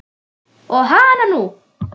Og hananú!